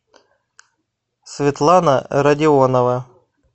светлана родионова